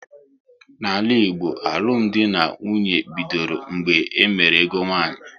N'ala Igbo, alụmdi na nwunye bidoro mgbe e mere ego nwaanyị